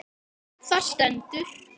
Þeir þekkja síður sína stöðu.